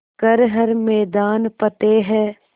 कर हर मैदान फ़तेह